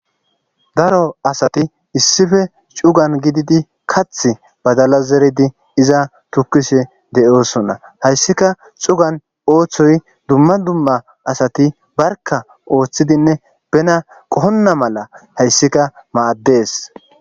Daro asati issife cugan gididi kath badala zeridi iza tukishe de'osonna hayssika cugan ooththoy dumma dumma asati barka ooththidinne bena qohonna mala hayssika maaddees.